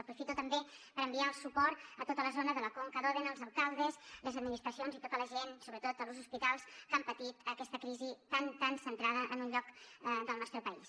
aprofito també per enviar el suport a tota la zona de la conca d’òdena als alcaldes les administracions i tota la gent sobretot als hospitals que han patit aquesta crisi tan tan centrada en un lloc del nostre país